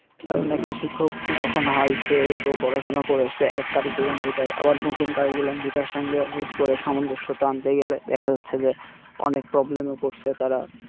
কারণ একটা শিক্ষক যখন হয় সে ত পড়াশোনা করে আসছে এক আবার নতুন সঙ্গে হুটকরে সমঞ্জসসতা আনতে গেলে দেখা যাচ্ছে যে অনেক এ পরসে তারা